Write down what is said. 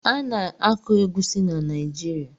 Ana-akọ egwusi na Naijiria.